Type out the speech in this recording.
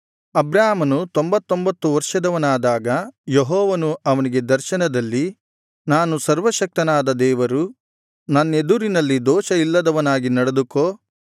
ಅಬ್ರಾಮನು ತೊಂಭತೊಂಭತ್ತು ವರ್ಷದವನಾದಾಗ ಯೆಹೋವನು ಅವನಿಗೆ ದರ್ಶನದಲ್ಲಿ ನಾನು ಸರ್ವಶಕ್ತನಾದ ದೇವರು ನನ್ನೆದುರಿನಲ್ಲಿ ದೋಷ ಇಲ್ಲದವನಾಗಿ ನಡೆದುಕೊ